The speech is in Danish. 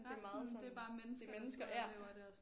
Det er meget sådan det er mennesker ja